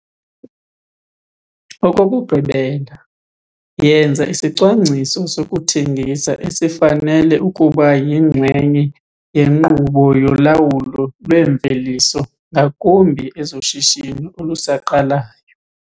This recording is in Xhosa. Okokugqibela, yenza isicwangciso sokuthengisa esifanele ukuba yinxenye yenkqubo yolawulo lweemveliso ngakumbi ezoshishino olusaqalayo.